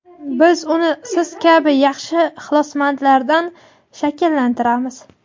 Biz uni siz kabi yosh ixlosmandlardan shakllantiramiz.